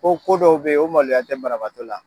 Ko ko dɔw bɛ yen, o maloya tɛ banabagatɔ la!